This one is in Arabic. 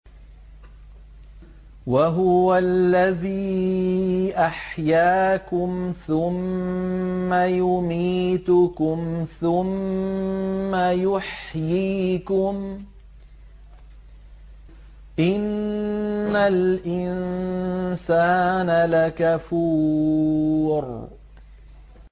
وَهُوَ الَّذِي أَحْيَاكُمْ ثُمَّ يُمِيتُكُمْ ثُمَّ يُحْيِيكُمْ ۗ إِنَّ الْإِنسَانَ لَكَفُورٌ